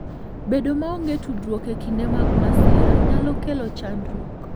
Bedo maonge tudruok e kinde mag masira nyalo kelo chandruok.